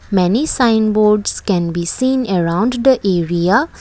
Many sign boards can be seen around the area.